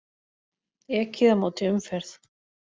Ekið á móti umferð